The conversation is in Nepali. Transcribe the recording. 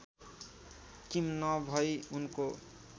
किम नभई उनको